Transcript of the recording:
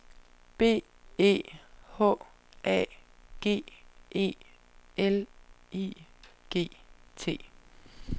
B E H A G E L I G T